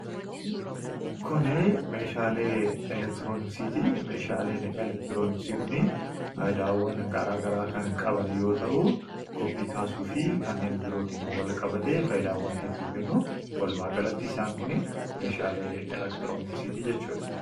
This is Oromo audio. Kuni meeshaalee elektirooniksiiti. Meeshaaleen elektirooniksii kuni faayidaawwan garaa garaa kan qaban yoo ta'u ''koppii'' kaasuu fi kanneen birootin walqabatee faayidaawwan hedduu kennu. Walumaagalatti isaan kuni meeshaalee elektirooniksiiti jechuudha.